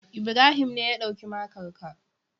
Ibrahim ne ya ɗauki makar ka.